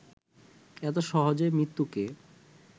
এত সহজে মৃত্যুকে